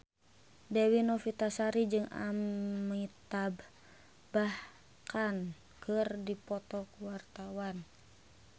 Dewi Novitasari jeung Amitabh Bachchan keur dipoto ku wartawan